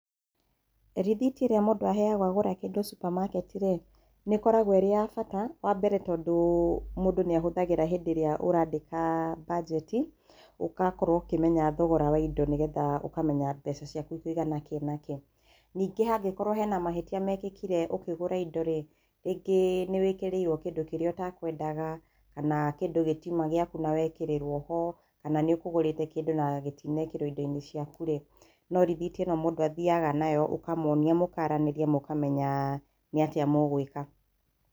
Rĩthiti ĩrĩa mũndũ aheagwo agũra kĩndũ Supermarket-rĩ nĩĩkoragwo ĩrĩ ya bata wa mbere tondũ mũndũ nĩahũthagĩra hĩndĩ ĩrĩa ũrandĩka mbanjeti ũgakorwo ũkĩmenya thogora wa indo nĩgetha ũkĩmenya thogora wa indo nĩgetha ũkamenya mbeca ciaku ikũigana kĩĩ na kĩĩ. Ningĩ hangĩkorwo hena mahĩtia mekĩkire ũkĩgũra indo-rĩ, rĩngĩ nĩ wĩkĩrĩirwo kĩndũ kĩrĩa ũtakwendaga, kana kĩndũ gĩtiuma gĩaku na wekĩrĩrwo ho, kana nĩũkũgũrĩte kĩndũ na gĩtinekĩrwo indo-inĩ ciaku-rĩ, no rĩthiti ĩno mũndũ athiaga nayo, ũkamonia mũkaranĩria mũkamenyaa nĩatĩa mũgwĩka.